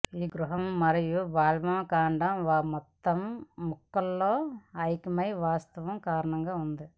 ఈ గృహ మరియు వాల్వ్ కాండం ఒక మొత్తం ముక్క లో ఐక్యమై వాస్తవం కారణంగా ఉంది